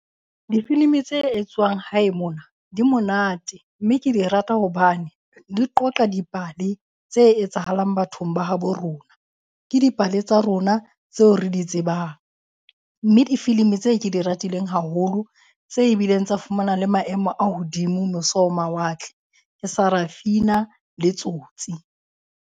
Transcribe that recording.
Difilimi tse etswang hae mona di monate mme ke di rata hobane di qoqa dipale tse etsahalang bathong ba habo rona. Ke dipale tsa rona tseo re di tsebang mme difilimi tse ke di ratileng haholo, tse bileng tsa fumana le maemo a hodimo mose ho mawatle, ke Sarafina le Tsotsi.